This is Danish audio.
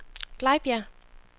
Glejbjerg